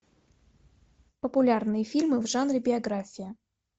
популярные фильмы в жанре биография